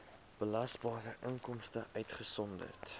belasbare inkomste uitgesonderd